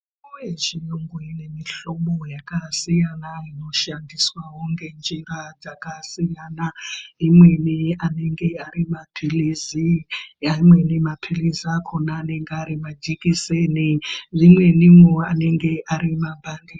Mitombo yechiyungu inemihlobo yakasiyana inoshandiswawo ngenjira dzakasiyana. Imweni anenge ari maphirizi. Amweni maphirizi akhona anenge ari majekiseni. Rimweniwo anenge ari mapandi.